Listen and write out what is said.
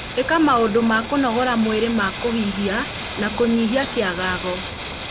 ĩka maũndũ ma kũnogora mwĩrĩ ma kũhihia na kũnyihia kĩagago.